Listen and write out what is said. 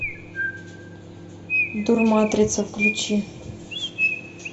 дурматрица включи